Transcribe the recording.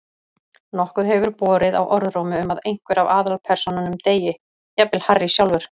Nokkuð hefur borið á orðrómi um að einhver af aðalpersónunum deyi, jafnvel Harry sjálfur.